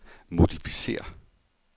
modificér